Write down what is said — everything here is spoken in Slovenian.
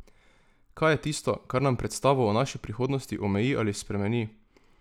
Kaj je tisto, kar nam predstavo o naši prihodnosti omeji ali spremeni?